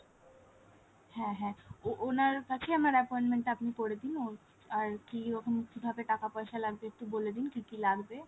হ্যাঁ হ্যাঁ ওনার কাছেই আমার appointment আপনি করে দিন ওর আর কি এরকম কিভাবে টাকা পয়সা লাগবে একটু বলে দিন কি কি লাগবে ?